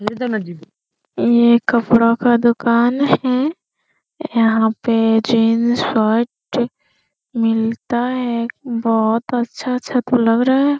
ये एक कपड़ो का दुकान है यहाँ पे जीन्स शर्ट मिलता है बहुत अच्छा-अच्छा तो लग रहा है ।